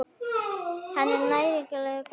Er hann nægilega góður?